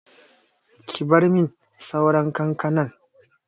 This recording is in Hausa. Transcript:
Ki bar min sauran kankanan!